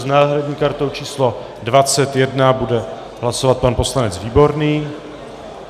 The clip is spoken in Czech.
S náhradní kartou číslo 21 bude hlasovat pan poslanec Výborný.